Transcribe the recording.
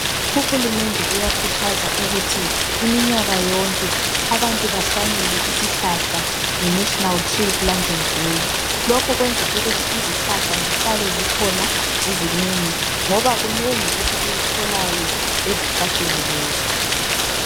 UHulumende uyakhuthaza ukuthi iminyaka yonke abantu bahlanyele isihlahla nge National tree planting day. Lokho kwenza ukuthi izihlahla zihlale zikhona zizinengi ngoba kunengi esikutholayo ezihlahleni lezo.